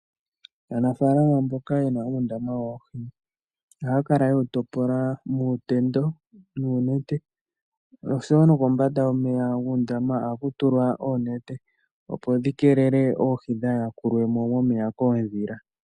Aanafalama mboka yena oondama dhoohi ohaya kala yewu topola muutendo noonenete, oshowo kombanda yomeya ohaya tula ko oonete opo dhi keelele oohi kaadhiyakulwe mo momeya koondhila.